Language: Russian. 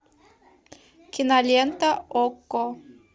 кинолента окко